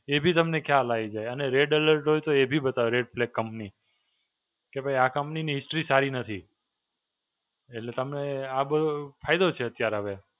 એ બી તમને ખ્યાલ આવી જાય અને Red Alert હોય તો એ બી બતાવે Red Plague Company. કે ભઇ આ company ની history સારી નથી. એટલે તમને આ બહું ફાયદો છે અત્યારે હવે.